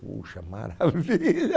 Puxa, maravilha!